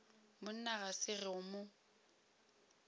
monna ga se go mo